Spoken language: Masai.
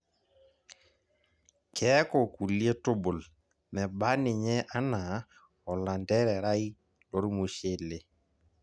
keeku kulie tubul meba ninye anaa olantererai lormushele.